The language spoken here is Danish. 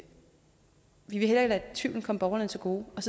tvivlen komme borgerne til gode og